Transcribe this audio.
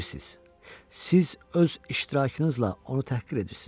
Siz öz iştirakınızla onu təhqir edirsiz.